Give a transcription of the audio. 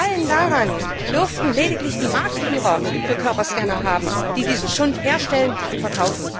Gefallen daran dürften lediglich die Marktführer für Körperscanner haben, die diesen Schund herstellen und verkaufen.